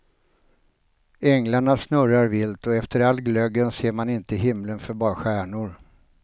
Änglarna snurrar vilt och efter all glöggen ser man inte himlen för bara stjärnor.